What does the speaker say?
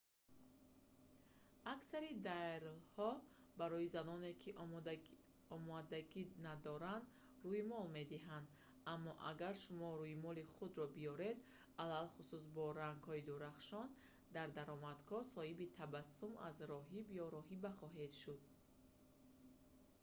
аксари дайрҳо барои заноне ки омодагӣ надоранд рӯймол медиҳанд аммо агар шумо рӯймоли худро биёред алахусус бо рангҳои дурахшон дар даромадгоҳ соҳиби табассуме аз роҳиб ё роҳиба хоҳед шуд